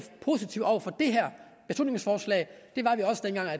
positive over for det her beslutningsforslag